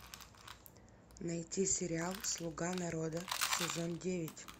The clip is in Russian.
найти сериал слуга народа сезон девять